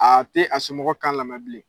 Aa te a somɔgɔ kan lamɛ bilen.